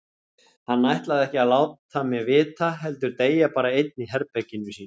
Hann ætlaði ekki að láta mig vita heldur deyja bara einn í herberginu sínu.